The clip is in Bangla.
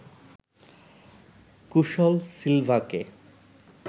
কুশল সিলভাকে